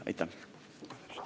Aitäh!